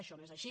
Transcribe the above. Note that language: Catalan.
això no és així